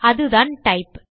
அதுதான் டைப்